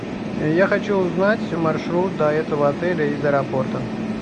я хочу узнать маршрут до этого отеля из аэропорта